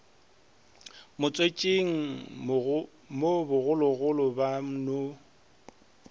motswetšing mo bogologolo ba no